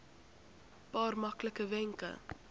paar maklike wenke